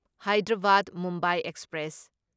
Hyderabad Mumbai express